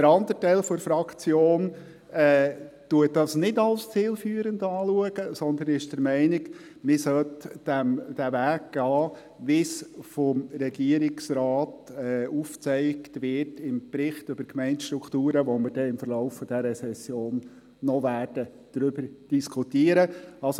Der andere Teil der Fraktion betrachtet dies als nicht zielführend, sondern ist der Meinung, dass man den Weg gehen sollte, wie er vom Regierungsrat im Bericht über die Gemeindestrukturen aufgezeigt wird, über den wir im Verlauf dieser Session noch diskutieren werden.